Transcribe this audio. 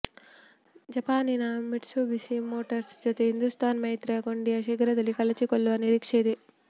ಜಪಾನಿನ Mitsubishi Motors ಜೊತೆ ಹಿಂದೂಸ್ತಾನ್ ಮೈತ್ರಿಯ ಕೊಂಡಿಯು ಶೀಘ್ರದಲ್ಲಿ ಕಳಚಿಕೊಳ್ಳುವ ನಿರೀಕ್ಷೆಯಿದೆ